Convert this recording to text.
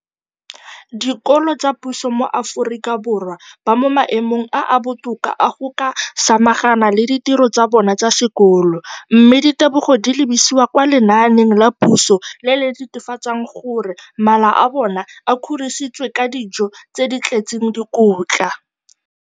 dikolo tsa puso mo Aforika Borwa ba mo maemong a a botoka a go ka samagana le ditiro tsa bona tsa sekolo, mme ditebogo di lebisiwa kwa lenaaneng la puso le le netefatsang gore mala a bona a kgorisitswe ka dijo tse di tletseng dikotla.